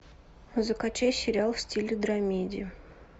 закачай сериал в стиле драмеди